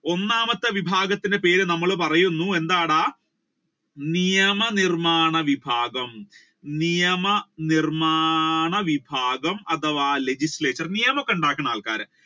ഒന്നാമത്തെ വിഭാഗത്തിന്റെ പേര് നമ്മൾ പറയുന്നു എന്താണ് നിയമനിർമാണ വിഭാഗം അഥവാ legislator നിയമത്തെ ഉണ്ടാക്കുന്ന ആൾകാർ